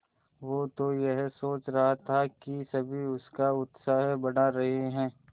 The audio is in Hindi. वो तो यह सोच रहा था कि सभी उसका उत्साह बढ़ा रहे हैं